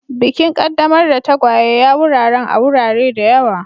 Bikin qaddamar da tagwaye ya wuraren a wurare da yawa.